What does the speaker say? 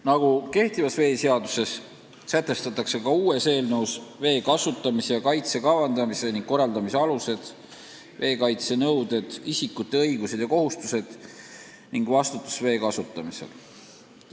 Nagu praeguses veeseaduses, sätestatakse ka eelnõus vee kasutamise ja kaitse kavandamise ning korraldamise alused, veekaitse nõuded, isikute õigused ja kohustused ning vastutus vee kasutamisel.